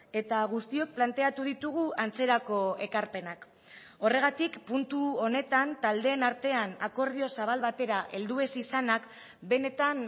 eta guztiok planteatu ditugu antzerako ekarpenak horregatik puntu honetan taldeen artean akordio zabal batera heldu ez izanak benetan